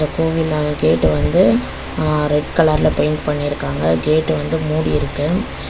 கோவினா gate வந்து அ red கலர்ல பெயிண்ட் பண்ணி இருக்காங்க கேட்டு வந்து மூடி இருக்கு.